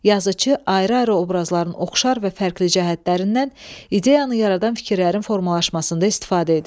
Yazıçı ayrı-ayrı obrazların oxşar və fərqli cəhətlərindən ideyanı yaradan fikirlərin formalaşmasında istifadə edir.